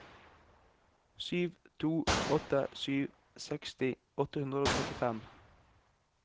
sju to åtte sju seksti åtte hundre og trettifem